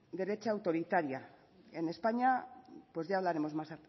derecha autoritaria en españa pues ya hablaremos más